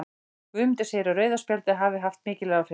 Guðmundur segir að rauða spjaldið hafi haft mikil áhrif.